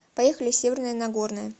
поехали северное нагорное